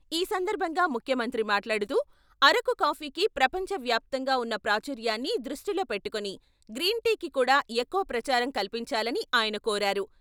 ఈ సందర్భంగా ముఖ్యమంత్రి మాట్లాడుతూ, అరకు కాఫీకి ప్రపంచ వ్యాప్తంగా ఉన్న ప్రాచుర్యాన్ని దృష్టిలో పెట్టుకుని గ్రీన్ టీకి కూడా ఎక్కువ ప్రచారం కల్పించాలని ఆయన కోరారు.